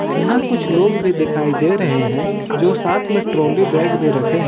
यहां कुछ लोग भी दिखाई दे रहे हैं जो साथ में ट्रॉली बैग भी रखे हैं।